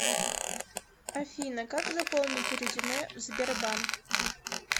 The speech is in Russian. афина как заполнить резюме в сбербанк